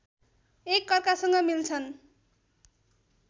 एकअर्कासँग मिल्छन्